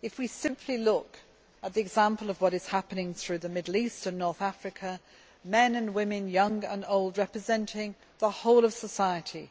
If we simply look, for example, at what is happening throughout the Middle East and North Africa, men and women, young and old, representing the whole of society,